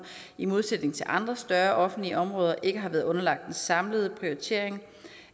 i modsætning til andre større offentlige områder ikke har været underlagt en samlet prioritering